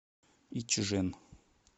ичжэн